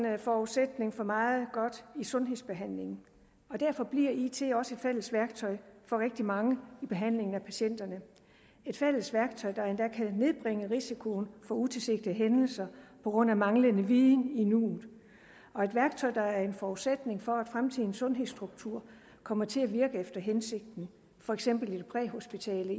forudsætning for meget godt i sundhedsbehandlingen derfor bliver it også et fælles værktøj for rigtig mange i behandlingen af patienterne et fælles værktøj der endda kan nedbringe risikoen for utilsigtede hændelser på grund af manglende viden i nuet og et værktøj der er en forudsætning for at fremtidens sundhedsstruktur kommer til at virke efter hensigten for eksempel i den præhospitale